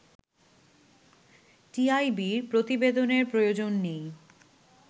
টিআইবির প্রতিবেদনের প্রয়োজন নেই